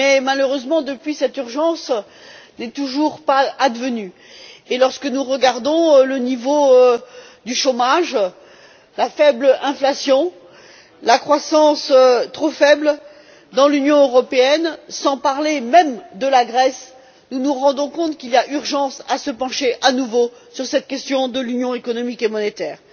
Mais malheureusement depuis, cette urgence n'est toujours pas advenue et lorsque nous regardons le niveau du chômage, la faible inflation, la croissance trop faible dans l'Union européenne, sans même parler de la Grèce, nous nous rendons compte qu'il y a urgence à se pencher de nouveau sur cette question de l'union économique et monétaire.